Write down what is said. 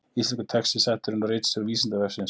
Íslenskur texti settur inn af ritstjórn Vísindavefsins.